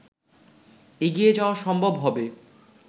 এগিয়ে যাওয়া সম্ভব হবে